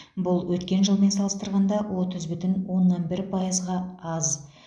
бұл өткен жылмен салыстырғанда отыз бүтін оннан бір пайызға аз